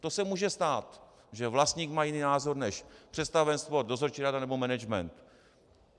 To se může stát, že vlastník má jiný názor než představenstvo, dozorčí rada nebo management.